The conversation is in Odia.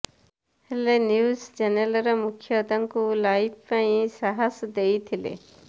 ହେଲେ ନ୍ୟୁଜ ଚ୍ୟାନେଲର ମୁଖ୍ୟ ତାଙ୍କୁ ଲାଇଭ ପାଇଁ ସାହସ ଦେଇଥିଲେ